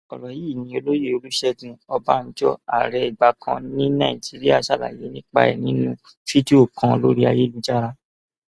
ọrọ yìí ni olóyè olùṣègùn ọbànjọ ààrẹ ìgbà kan ní nàìjíríà ṣàlàyé nípa ẹ nínú fídíò kan lórí ayélujára